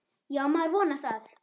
Já, maður vonar það.